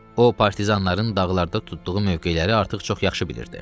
O partizanların dağlarda tutduğu mövqeləri artıq çox yaxşı bilirdi.